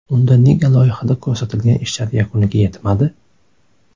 Unda nega loyihada ko‘rsatilgan ishlar yakuniga yetmadi?